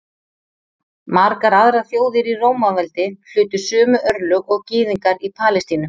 Margar aðrar þjóðir í Rómaveldi hlutu sömu örlög og Gyðingar í Palestínu.